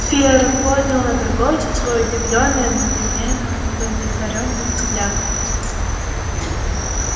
ферл поднял на торговца свой удивлённый и одновременно удовлетворённый взгляд